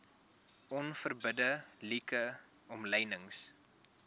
onverbidde like omlynings